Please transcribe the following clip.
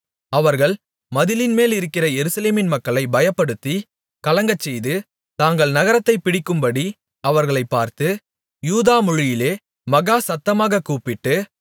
அவர்கள் மதிலின்மேலிருக்கிற எருசலேமின் மக்களைப் பயப்படுத்தி கலங்கச்செய்து தாங்கள் நகரத்தைப்பிடிக்கும்படி அவர்களைப் பார்த்து யூத மொழியிலே மகா சத்தமாகக் கூப்பிட்டு